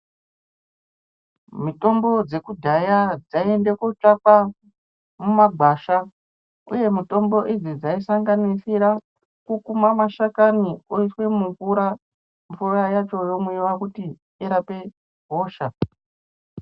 Mutombo wekudhaya dzaienda kotsvaka mumagwasha uye mitombo idzi dzaisanganisira kukuma mashakani oiswa mumvura mvura yacho yomwiwa irape hosha.